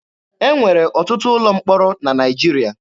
E nwere ọtụtụ ụlọ mkpọrọ na Naịjirịa.